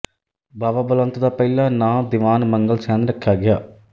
ਬਾਵਾ ਬਲਵੰਤ ਦਾ ਪਹਿਲਾ ਨਾਂਅ ਦੀਵਾਨ ਮੰਗਲ ਸੈਨ ਰੱਖਿਆ ਗਿਆ